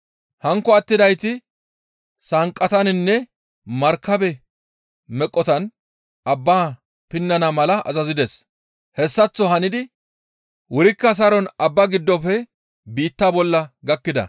Hankko attidayti sanqqataninne markabe meqotan abbaa pinnana mala azazides; hessaththo hanidi wurikka saron abbaa giddofe biittaa bolla gakkida.